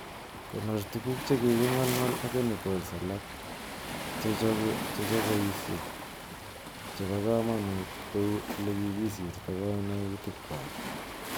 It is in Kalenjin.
Konor tuguk chekikingolngol ak chemicals alak en chogoisiek che bo komonut kou ele kikisirta koinutikchwak.